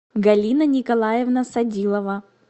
галина николаевна садилова